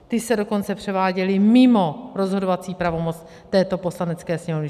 Ty se dokonce převáděly mimo rozhodovací pravomoc této Poslanecké sněmovny.